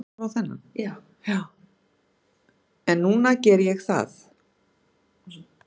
En núna geri ég það.